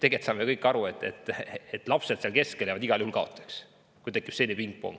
Tegelikult saame me kõik aru, et lapsed seal keskel jäävad igal juhul kaotajaks, kui tekib selline pingpongitamine.